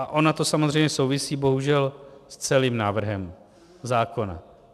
A ono to samozřejmě souvisí bohužel s celým návrhem zákona.